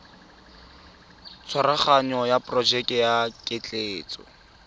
tshwaraganyo ya porojeke ya ketleetso